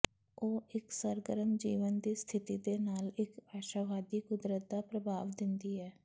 ਉਹ ਇੱਕ ਸਰਗਰਮ ਜੀਵਨ ਦੀ ਸਥਿਤੀ ਦੇ ਨਾਲ ਇੱਕ ਆਸ਼ਾਵਾਦੀ ਕੁਦਰਤ ਦਾ ਪ੍ਰਭਾਵ ਦਿੰਦੀ ਹੈ